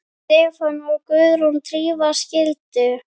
Stefán og Guðrún Drífa skildu.